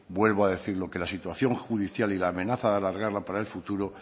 vuelvo a decirlo que la situación judicial y la amenaza de alargarla para el futuro